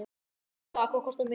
Góðan dag. Hvað kostar miðinn?